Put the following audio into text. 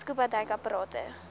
scuba duik aparte